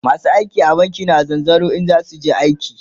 masu aiki a banki na zanzaro in zasuje aiki